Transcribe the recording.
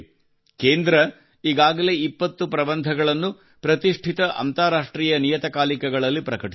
ಕೇಂದ್ರವು ಈಗಾಗಲೇ 20 ಪ್ರಬಂಧಗಳನ್ನು ಪ್ರತಿಷ್ಠಿತ ಅಂತಾರಾಷ್ಟ್ರೀಯ ನಿಯತಕಾಲಿಕಗಳಲ್ಲಿ ಪ್ರಕಟಿಸಿದೆ